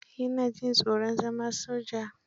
Ya na jin tsoron zana soja